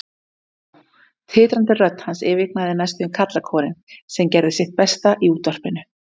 Há, titrandi rödd hans yfirgnæfði næstum karlakórinn, sem gerði sitt besta í útvarpinu.